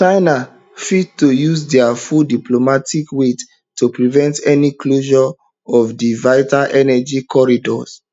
china fit to use dia full diplomatic weight to prevent any closure of dis vital energy corridor